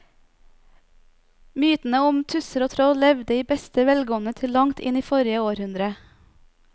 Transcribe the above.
Mytene om tusser og troll levde i beste velgående til langt inn i forrige århundre.